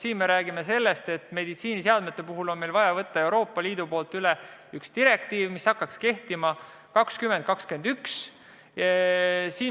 Siin me räägime sellest, et meditsiiniseadmete puhul on meil vaja võtta üle üks Euroopa Liidu direktiiv, mis hakkaks kehtima 2021.